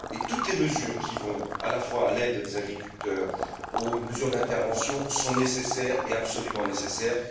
Toutes les mesures qui vont de l'aide aux agriculteurs aux mesures d'intervention sont nécessaires et absolument nécessaires.